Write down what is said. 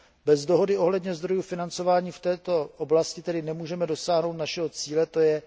Bez dohody ohledně zdrojů financování v této oblasti tedy nemůžeme dosáhnout našeho cíle, tj.